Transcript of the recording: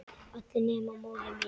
Allir nema móðir mín.